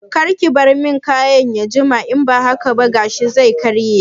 Karki bar man kayin ya jima in ba haka ba gashin zai karye